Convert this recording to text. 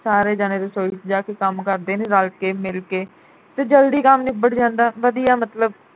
ਸਾਰੇ ਜਾਣੇ ਰਸੋਈ ਵਿਚ ਜਾ ਕੇ ਕੰਮ ਕਰਦੇ ਨੇ ਰਲ ਕੇ ਮਿਲ ਕੇ ਤੇ ਜਲਦੀ ਕੰਮ ਨਿੱਬੜ ਜਾਂਦਾ ਵਧੀਆ ਮਤਲਬ